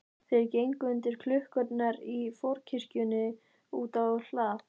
Þeir gengu undir klukkurnar í forkirkjunni og út á hlað.